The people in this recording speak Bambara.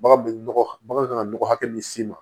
Bagan bɛ nɔgɔ bagan kan ka nɔgɔ hakɛ min s'i ma